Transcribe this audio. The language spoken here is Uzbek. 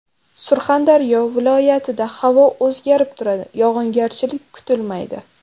Surxondaryo viloyat ida havo o‘zgarib turadi, yog‘ingarchilik kutilmaydi.